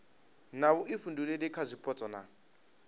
na vhuifhinduleli kha zwipotso na